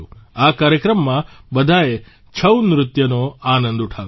આ કાર્યક્રમમાં બધાએ છઉ નૃત્યનો આનંદ ઉઠાવ્યો